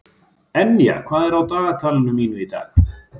Enja, hvað er á dagatalinu mínu í dag?